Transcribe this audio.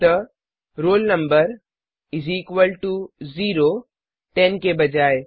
अतः roll number इस equal to zero ten के बजाय